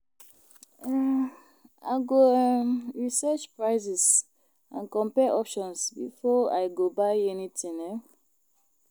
um I go um research prices and compare options before I go buy anything. um